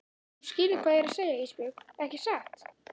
Þú skilur hvað ég er að segja Ísbjörg ekki satt?